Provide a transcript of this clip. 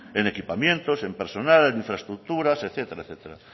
en equipamientos en personal en infraestructuras etcétera etcétera